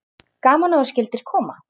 Gaman að þú skyldir koma.